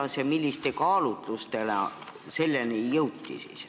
Kuidas ja milliste kaalutlustega selleni jõuti?